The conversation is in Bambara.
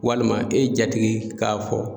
Walima e jatigi k'a fɔ